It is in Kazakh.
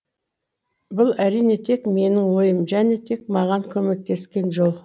бұл әрине тек менің ойым және тек маған көмектескен жол